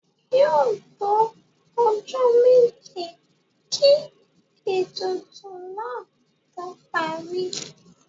Yóò tó ọjọ́ méje kí ètùtù náà tó parí.